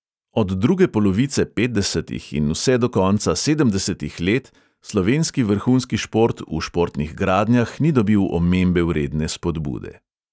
Od druge polovice petdesetih in vse do konca sedemdesetih let slovenski vrhunski šport v športnih gradnjah ni dobil omembe vredne spodbude.